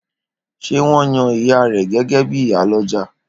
Ṣé wón yan ìyá rẹ gégé bíi ìyálọ́jà?